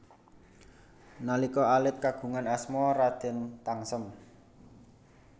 Nalika alit kagungan asma Raden Tangsem